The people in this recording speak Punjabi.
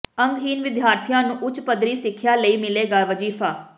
ਅੰਗਹੀਣ ਵਿਦਿਆਰਥੀਆਂ ਨੂੰ ਉੱਚ ਪੱਧਰੀ ਸਿੱਖਿਆ ਲਈ ਮਿਲੇਗਾ ਵਜ਼ੀਫ਼ਾ